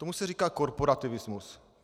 Tomu se říká korporativismus.